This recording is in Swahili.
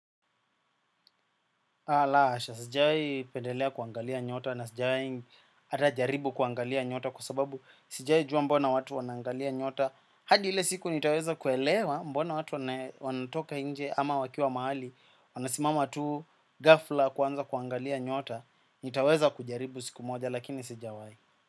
La hasha, sijai pendelea kuangalia nyota na sijai hata jaribu kuangalia nyota kwa sababu sijai jua mbona watu wanangalia nyota. Hadi ile siku nitaweza kuelewa mbona watu wanatoka nje ama wakiwa mahali. Wanasimama tu ghafla kuanza kuangalia nyota, nitaweza kujaribu siku moja lakini sijawai.